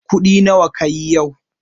Kuɗi nawa kayi yau?